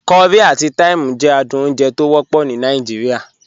Curry ati thyme jẹ àdùn ọ̀unjè tọ wọpọ ní Nàìjíríà.